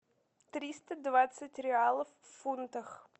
триста двадцать реалов в фунтах